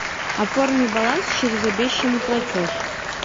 оформи баланс через обещанный платеж